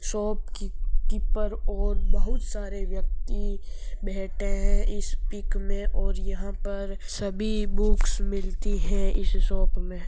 शॉपकीपर और बहुत सारे व्यक्ति बैठे हैं इस पीक मे और यह पर सभी बुक्स मिलती हैं इस शॉप मे।